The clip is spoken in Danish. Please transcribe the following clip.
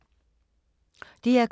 DR K